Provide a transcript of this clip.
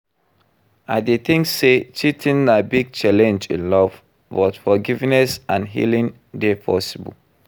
I dey think say cheating na big challenge in love, but forgiveness and healing dey possible.